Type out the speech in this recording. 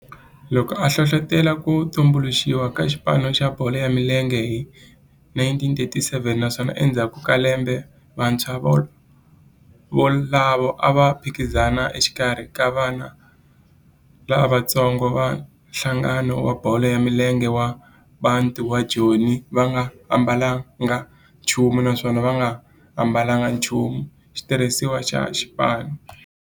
loko a hlohlotela ku tumbuluxiwa ka xipano xa bolo ya milenge hi 1937 naswona endzhaku ka lembe vantshwa volavo a va phikizana exikarhi ka vana lavatsongo va nhlangano wa bolo ya milenge wa Bantu wa Joni va nga ambalanga nchumu naswona va nga ambalanga nchumu xitirhisiwa xa xipano.